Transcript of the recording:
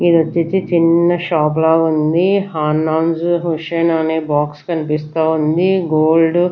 ఇది వచ్చేసి చిన్న షాప్ ల ఉంది హాన్నాజ్ హుస్సైన్ అనే బాక్స్ కనిపిస్తా ఉంది గోల్డ్ .